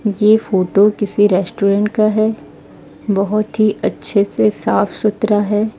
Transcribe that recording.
ये फोटो किसी रेस्टोरेंट का है बहोत ही अच्छे से साफ सुथरा है।